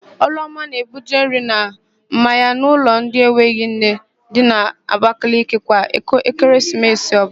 Ọlụọma na-ebuje nri na mmanya n'ụlọ ndị enweghị nne dị n'Abakaliki kwa Ekeresimesi ọbụla.